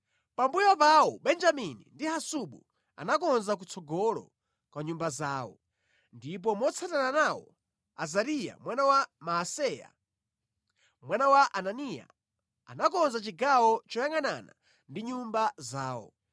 Pambuyo pawo, Benjamini ndi Hasubu anakonza kutsogolo kwa nyumba zawo. Ndipo motsatana nawo, Azariya mwana wa Maaseya mwana wa Ananiya, anakonza chigawo choyangʼanana ndi nyumba zawo.